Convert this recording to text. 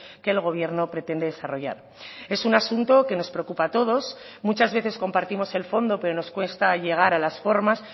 que el gobierno pretende desarrollar es un asunto que nos preocupa a todos muchas veces compartimos el fondo pero nos cuesta llegar a las formas